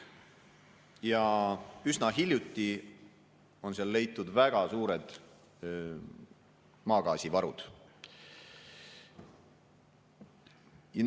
Ja üsna hiljuti on leitud väga suured maagaasivarud.